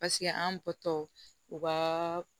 Paseke an bɔtɔ u ka